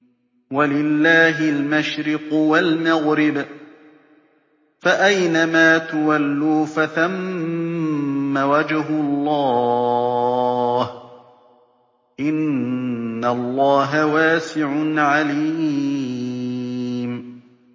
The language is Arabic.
وَلِلَّهِ الْمَشْرِقُ وَالْمَغْرِبُ ۚ فَأَيْنَمَا تُوَلُّوا فَثَمَّ وَجْهُ اللَّهِ ۚ إِنَّ اللَّهَ وَاسِعٌ عَلِيمٌ